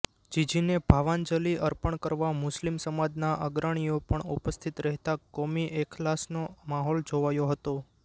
જીજીને ભાવાંજલિ અર્પણ કરવા મુસ્લિમ સમાજના અગ્રણીઓ પણ ઉપસ્થિત રહેતા કોમી એખલાસનો માહોલ જોવાયો હતો